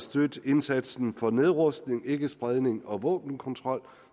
støtte indsatsen for nedrustning ikkespredning og våbenkontrol